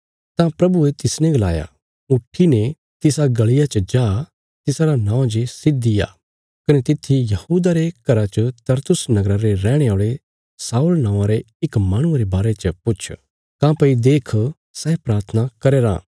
तां प्रभुये तिसने गलाया उट्ठीने तिसा गल़िया च जा तिसारा नौं जे सीधी आ कने तित्थी यहूदा रे घरा च तरसुस नगरा रे रैहणे औल़े शाऊल नौआँ रे इक माहणुये रे बारे च पुछ काँह्भई देख सै प्राथना करया राँ